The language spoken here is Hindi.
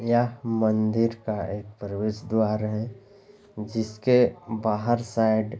यह मंदिर का एक प्रवेश द्वार है जिसके बाहर साइड।